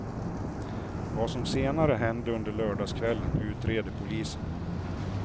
Vad som senare hände under lördagskvällen utreder polisen.